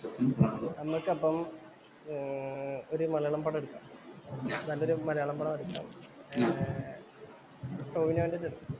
നമ്മുക്കപ്പം ഒരു മലയാള പടം എടുക്കാം. നല്ലൊരു മലയാള പടം എടുക്കാം. ഏർ ടോവിനോന്‍റെ ചി